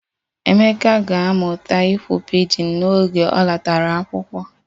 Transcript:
Emeka ga-amụta ikwu pijin n'oge ọ lọtara akwụkwọ